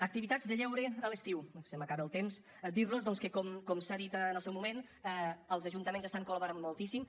activitats de lleure a l’estiu se m’acaba el temps dir los doncs que com s’ha dit en el seu moment els ajuntaments hi estan col·laborant moltíssim